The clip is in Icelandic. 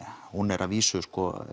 hún er að vísu